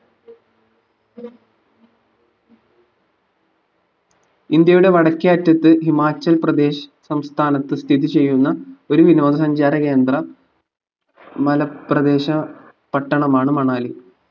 ഇന്ത്യയുടെ വടക്കേ അറ്റത് ഹിമാചൽപ്രദേശ് സംസ്ഥാനത്ത് സ്ഥിതി ചെയ്യുന്ന ഒരു വിനോദസഞ്ചാര കേന്ദ്ര മലപ്രദേശ പട്ടണമാണ് മണാലി